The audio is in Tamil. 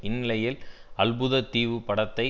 இந்நிலையில் அல்புதத்தீவு படத்தை